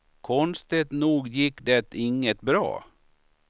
Konstigt nog gick det inget bra.